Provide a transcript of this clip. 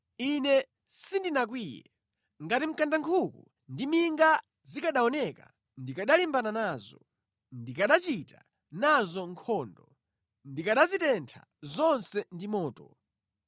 Ine sindinakwiye. Ngati mkandankhuku ndi minga zikanaoneka ndikanalimbana nazo! Ndikachita nazo nkhondo; ndikanazitentha zonse ndi moto.